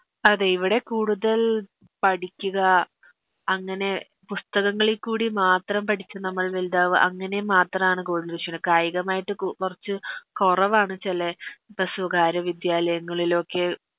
അതെ ഇവടെ കൂടുതൽ പഠിക്കുക അങ്ങനെ പുസ്തകങ്ങളി ക്കൂടി മാത്രം പഠിച്ച് നമ്മൾ വലുതാവ അങ്ങനെ മാത്രാണ് കായികമായിട്ട് കൊ കൊറച്ച് കൊറവാണ് ചെലെ പ്പസുകാരെ വിദ്യാലയങ്ങളിലൊക്കെ